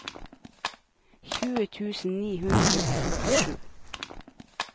tjue tusen ni hundre og førtisju